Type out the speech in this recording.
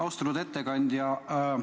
Austatud ettekandja!